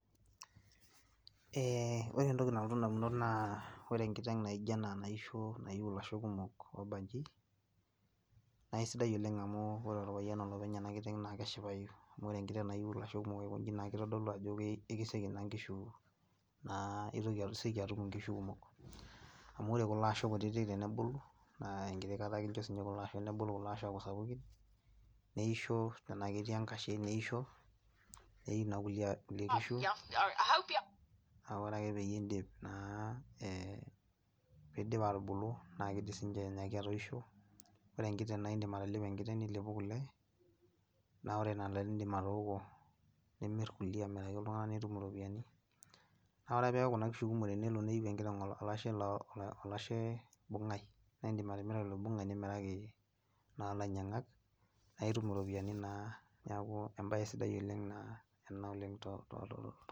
Ee ore entoki nalotu damunot naa ore enkiteng' naijo ena naisho natii ilasho kumok oobaji, naa isidai oleng amu ore ilpayiani olopeny ena kiteng naa keshipayu, amu ore enkiteng' nayieu ilasho kumok aikoji naa kitodolu ajo, kesioki naa nkishu naa kisioki atum nkishu kumok amu ore kulo ashomo tenebulu, enkiti kata ake incho kulo ahso nebulu kulo asho aaku sapukin, neisho tenaa ketii enkashe neisho neyiu naa kulie kishu, naa ore ake peyie iidip naa atubulu naa kidip sii ninche anyaaki atoisho ore enkiteng' naa idim atalepo enkiteng', ilep enkiteng' nilepu kule, naa ore Nena le idim atooko, nimir kulie aamiraki iltunganak nitum iropiyiani, naa. Ore ake peeku kuna kishu kumok teneyiue enkiteng' olashe , bungae naa idim atimira ilo bungae nimiraki naa ilaisiyiak naa itum iropiyiani ebae sidai ena oleng.